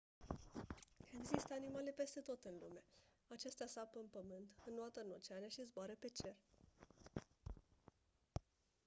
există animale peste tot în lume acestea sapă în pământ înoată în oceane și zboară pe cer